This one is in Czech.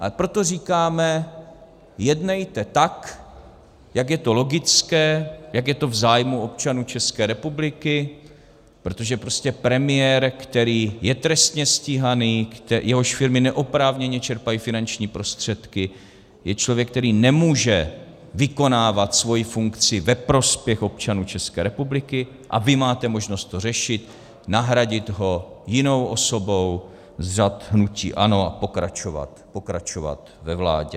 A proto říkáme, jednejte tak, jak je to logické, jak je to v zájmu občanů České republiky, protože prostě premiér, který je trestně stíhaný, jehož firmy neoprávněně čerpají finanční prostředky, je člověk, který nemůže vykonávat svoji funkci ve prospěch občanů České republiky, a vy máte možnost to řešit, nahradit ho jinou osobou z řad hnutí ANO a pokračovat ve vládě.